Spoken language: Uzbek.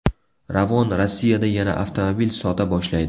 Ravon Rossiyada yana avtomobil sota boshlaydi .